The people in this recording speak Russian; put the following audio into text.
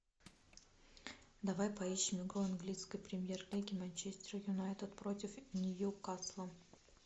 давай поищем игру английской премьер лиги манчестер юнайтед против ньюкасла